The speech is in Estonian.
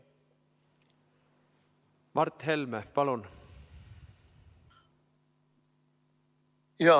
Mart Helme, palun!